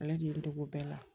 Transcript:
Ale de ye n dege o bɛɛ la